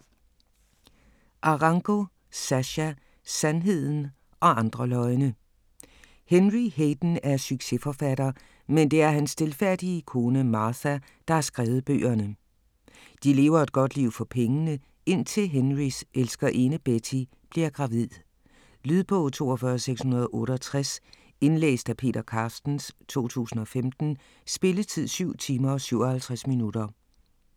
Arango, Sascha: Sandheden og andre løgne Henry Hayden er succesforfatter, men det er hans stilfærdige kone Martha, der har skrevet bøgerne. De lever et godt liv for pengene, indtil Henrys elskerinde Betty bliver gravid. Lydbog 42668 Indlæst af Peter Carstens, 2015. Spilletid: 7 timer, 57 minutter.